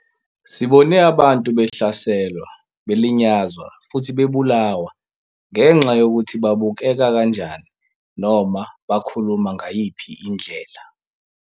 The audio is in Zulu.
Sibone abantu behlaselwa, belinyazwa futhi bebulawa ngenxa yokuthi babukeka kanjani noma bakhuluma ngayiphi indlela.